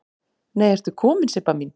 Nei ertu komin Sibba mín!